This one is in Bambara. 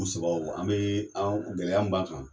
u sabaw an bɛ anw gɛlɛya min b'an kan.